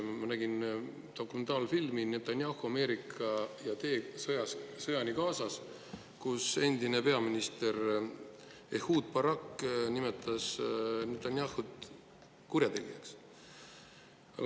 Ma nägin dokumentaalfilmi "Netanyahu, Ameerika ja tee sõjani Gazas", kus endine peaminister Ehud Barak nimetas Netanyahut kurjategijaks.